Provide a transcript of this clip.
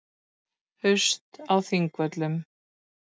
Haust á Þingvöllum.